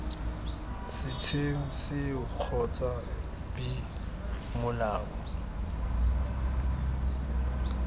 setsheng seo kgotsa b molao